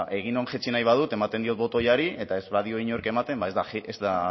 bueno bada eginon jaitsi nahi badut ematen diot botoari eta ez badio inork ematen ba ez da